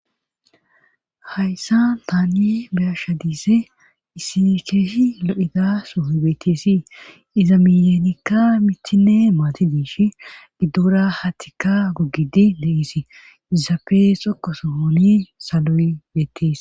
Hayssa taanni biyasha diise isi keeshi lo7hida soohoy beetteesi iza miyeenikka mithinne maati diish giddora hatika gogidi le7isi izafe xokko sohoni saloy beettees.